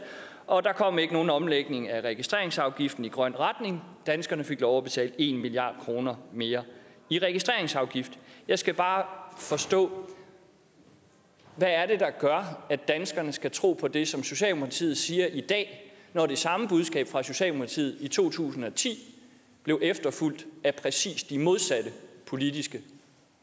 og der kom ikke nogen omlægning af registreringsafgiften i grøn retning danskerne fik lov at betale en milliard kroner mere i registreringsafgift jeg skal bare forstå hvad er det der gør at danskerne skal tro på det som socialdemokratiet siger i dag når det samme budskab fra socialdemokratiet i to tusind og ti blev efterfulgt af præcis de modsatte politiske